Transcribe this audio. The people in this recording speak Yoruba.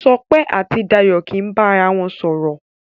Sope àti Dayo kí bá àrà wọn sòrò.